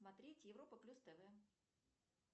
смотреть европа плюс тв